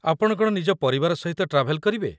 ଆପଣ କ'ଣ ନିଜ ପରିବାର ସହିତ ଟ୍ରାଭେଲ୍ କରିବେ?